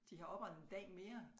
De har oprettet en dag mere